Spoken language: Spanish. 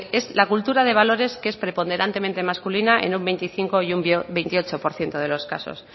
es la cultura de valores que es preponderantemente masculina en un veinticinco por ciento y un veintiocho por ciento de los casos